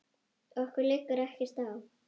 Okkur liggur ekkert á